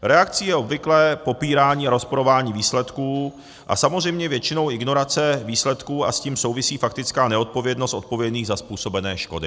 Reakcí je obvykle popírání a rozporování výsledků a samozřejmě většinou ignorace výsledků, a s tím souvisí faktická neodpovědnost odpovědných za způsobené škody.